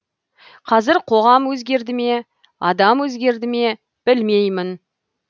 қазір қоғам өзгерді ме адам өзгерді ме білмеймін